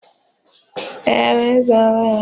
Ee, nke a bụ nwanyị ahụ na-arịa ọrịa HIV/AIDS